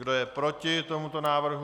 Kdo je proti tomuto návrhu?